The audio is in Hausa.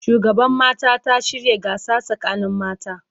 Shugaban mata ta shirya gasa sakanin mata